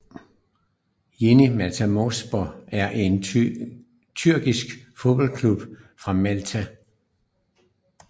Yeni Malatyaspor er en tyrkisk fodboldklub fra Malatya